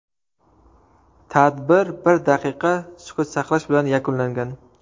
Tadbir bir daqiqa sukut saqlash bilan yakunlangan.